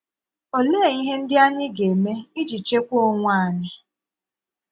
Òlee ihe ndị anyị ga - eme íji chèkwaa onwe ànyị?